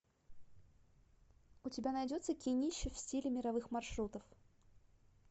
у тебя найдется кинище в стиле мировых маршрутов